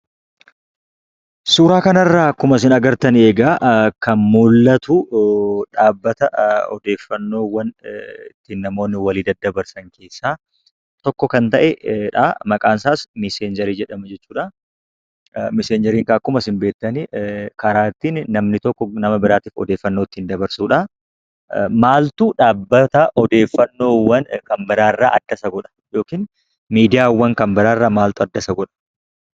Suura kana irraa akkuma argitan kan mul'atu dhaabbata odeeffannoowwan namoonni walii daddabarsan keessaa tokko kan ta'edha. Maqaan isaas miseenjerii jedhama. Miseenjeriin karaa namni tokko odeeffannoo ittiin walii dabarsudha. Maaltu miidiyaawwan garagaraa irraa adda isa godha?